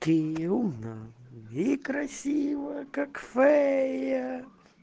ты умна и красива как фея